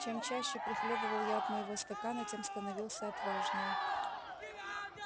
чем чаще прихлёбывал я от моего стакана тем становился отважнее